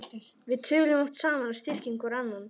Við tölum oft saman og styrkjum hvor annan.